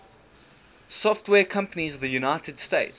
software companies of the united states